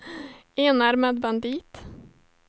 enarmad bandit